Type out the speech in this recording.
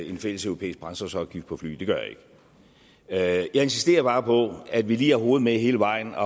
en fælles europæisk brændstofsafgift på fly det gør jeg ikke jeg insisterer bare på at vi lige har hovedet med hele vejen at